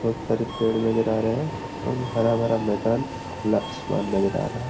पत्थर एक पेड़ नजर आ रहे है एवं हरा भरा मैदान खुला आसमान नज़र आ रहा हैं।